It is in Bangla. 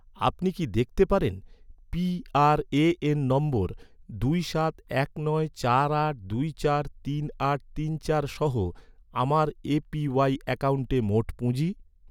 আপনি কি দেখতে পারেন, পিআরএএন নম্বর দুই সাত এক নয় চার আট দুই চার তিন আট তিন চার সহ, আমার এ.পি.ওয়াই অ্যাকাউন্টে মোট পুঁজি?